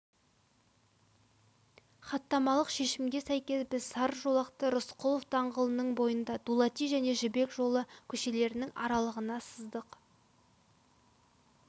хаттамалық шешімге сәйкес біз сары жолақты рысқұлов даңғылының бойында дулати және жібек жолы көшелерінің аралығына сыздық